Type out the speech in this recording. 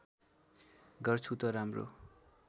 गर्छु त राम्रो